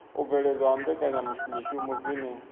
u bveledzwa ha mbekanyamishumo dzine